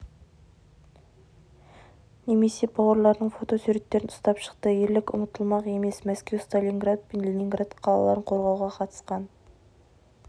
немесе бауырларының фотосуреттерін ұстап шықты ерлік ұмытылмақ емес мәскеу сталинград пен ленинград қалаларын қорғауға қатысқан